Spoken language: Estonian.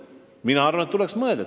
Mina arvan, et tuleks tõesti mõelda.